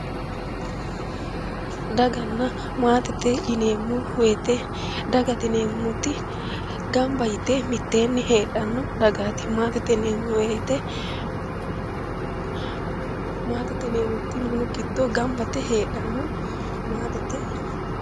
Daganna maatete yineemmo woyiite dagate yineemmoti gamba yite mitteenni heedhanno dagaati. maatete yineemmo wooyiite tini minu giddo gamba yite heedhanno maatete yineemmo.